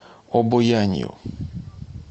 обоянью